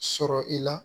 Sɔrɔ i la